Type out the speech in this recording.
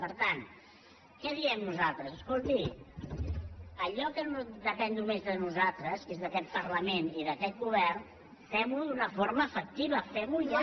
per tant què diem nosaltres escolti allò que depèn només de nosaltres que és d’aquest parlament i d’aquest govern fem ho d’una forma efectiva fem ho ja